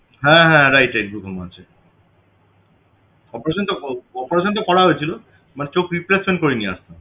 হ্যাঁ হ্যাঁ right right glaucoma আছে operation টা ক~ operation টা করা হয়েছিল চোখ replacement করে নিয়ে আসতাম